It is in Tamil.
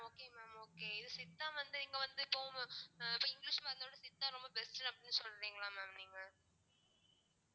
okay mam okay இது சித்தா வந்து இங்க வந்து இப்போ இப்போ இங்கிலிஷ் மருந்தோட சித்தா ரொம்ப best உ அப்படின்னு சொல்றீங்களா mam நீங்க